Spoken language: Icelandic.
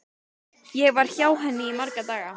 Ég var hjá henni í marga daga.